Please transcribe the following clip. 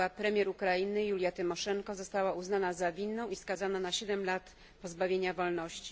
była premier Ukrainy Julia Tymoszenko została uznana za winną i skazana na siedem lat pozbawienia wolności.